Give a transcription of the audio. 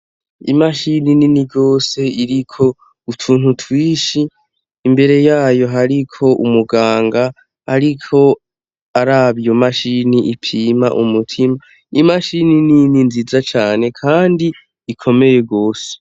Imashini nini rwose iriko utuntu twishi imbere yayo hariko umuganga ariko araba mashini ipima umutima imashini nini nziza cyane kandi ikomeye gose.